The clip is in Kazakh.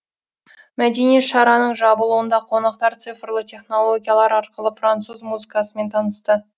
мәдени шараның жабылуында қонақтар цифрлы технологиялар арқылы француз музыкасымен танысты